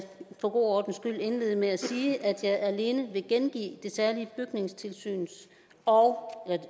for god ordens skyld indlede med at sige at jeg alene vil gengive det særlige bygningssyns og